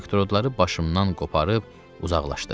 Elektrodları başımdan qoparıb uzaqlaşdı.